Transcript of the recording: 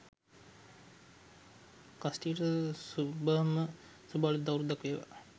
කස්ටියට සුබම සුබ අලුත් අවුරැද්දක් වේවා